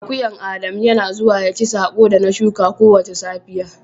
Akuyan Adamu Yana zuwa ya ci sako da na shuka kowace safiya.